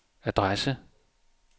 adresse